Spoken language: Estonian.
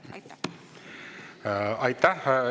Aitäh!